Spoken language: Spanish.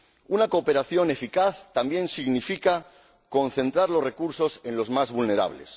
Una cooperación eficaz también significa concentrar los recursos en los más vulnerables.